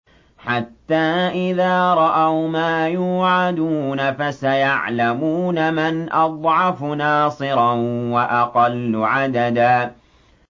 حَتَّىٰ إِذَا رَأَوْا مَا يُوعَدُونَ فَسَيَعْلَمُونَ مَنْ أَضْعَفُ نَاصِرًا وَأَقَلُّ عَدَدًا